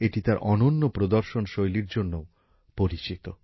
এটি তার অনন্য প্রদর্শন শৈলীর জন্যও পরিচিত